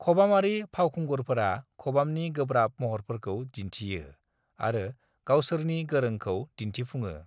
खबामारि फावखुंगुरफोरा खबामनि गोब्राब महरफोरखौ दिनथियो आरो गावसोरनि गोरोंखौ दिनथिफुङो।